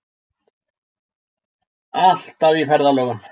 Alltaf í ferðalögum.